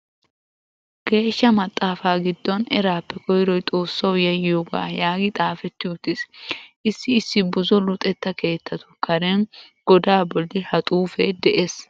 Geeshsha maxaafaa giddon "eraappe koyroy Xoossawu yayyiyogaa" yaagi xaafetti uttiis. Issi issi buzo luxetta keettatu karen godaa bolli ha xuufee de"ees.